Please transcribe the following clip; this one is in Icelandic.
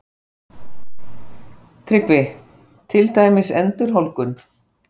TRYGGVI: Til dæmis endurholdgun?